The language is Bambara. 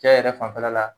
Cɛ yɛrɛ fanfɛla la